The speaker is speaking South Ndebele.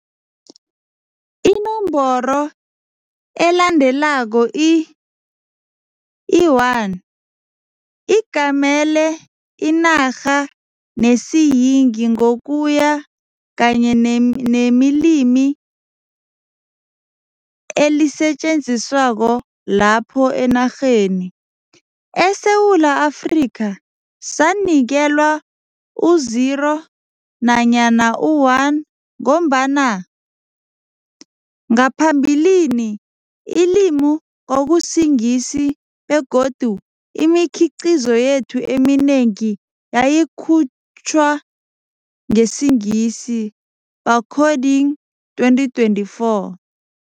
Inomboro elandelako i i-1, igamele inarha nesiyingi ngokuya kanye ne nemilimi elisetjenziswako lapho enarheni. ESewula Afrika sanikelwa u-0, nanyana u-1, ngombana ngaphambilini ulimi kwakusiNgisi begodu imikhiqizo yethu eminengi yayikhutjwa ngesiNgisi, Barcoding 2024.